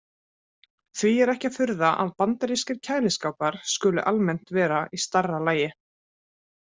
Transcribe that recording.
Því er ekki að furða að bandarískir kæliskápar skuli almennt vera í stærra lagi.